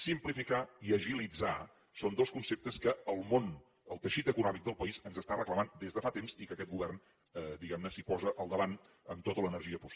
simplificar i agilitzar són dos conceptes que el món el teixit econòmic del país ens està reclamant des de fa temps i que aquest govern diguem ne s’hi posa al davant amb tota l’energia possible